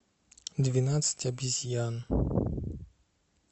двенадцать обезьян